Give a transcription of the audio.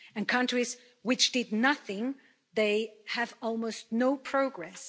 And countries which did nothing, they have almost no progress.